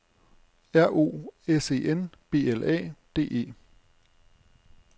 R O S E N B L A D E